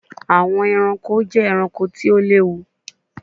Awọn ẹranko jẹ ẹranko ti o lewu